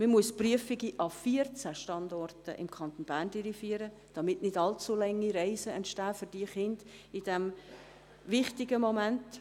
Man muss die Prüfungen an 14 Standorten im Kanton Bern durchführen, damit für diese Kinder nicht allzu lange Reisen entstehen in diesem wichtigen Moment.